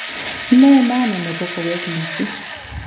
Ne maana nebo koweek Lissu